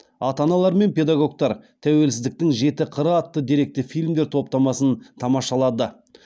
ата аналар мен педагогтар тәуелсіздіктің жеті қыры атты деректі фильмдер топтамасын тамашалады